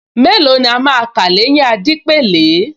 Mélòó ni a máa kà l’éyín Adépèlé